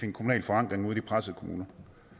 en kommunal forankring ude i de pressede kommuner